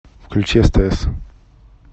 включи стс